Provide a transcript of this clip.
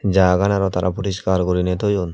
jagaan araw tara puriskar gurinei toyon.